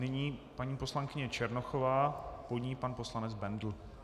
Nyní paní poslankyně Černochová, po ní pan poslanec Bendl.